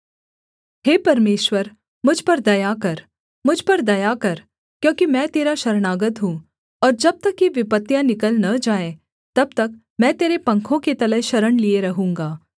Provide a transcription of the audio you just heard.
हे परमेश्वर मुझ पर दया कर मुझ पर दया कर क्योंकि मैं तेरा शरणागत हूँ और जब तक ये विपत्तियाँ निकल न जाएँ तब तक मैं तेरे पंखों के तले शरण लिए रहूँगा